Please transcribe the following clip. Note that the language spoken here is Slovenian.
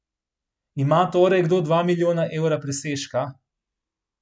Ima torej kdo dva milijona evra presežka?